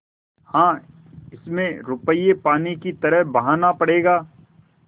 हाँ इसमें रुपये पानी की तरह बहाना पड़ेगा